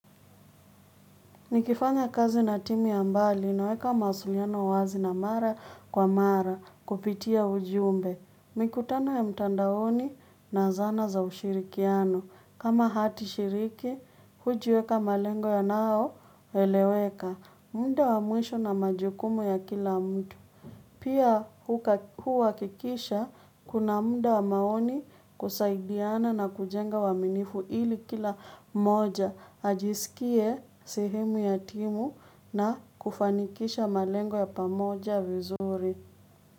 Nikifanya kazi na timu ya mbali, naweka mawasiliano wazi na mara kwa mara kupitia ujiumbe. Mikutano ya mtandaoni na zana za ushirikiano. Kama hati shiriki, hujiweka malengo yanayo, eleweka. Muda wa mwisho na majukumu ya kila mtu. Pia huhakikisha, kuna muda wa maoni kusaidiana na kujenga uaminifu ili kila mmoja, ajisikie sehemu ya timu na kufanikisha malengo ya pamoja vizuri.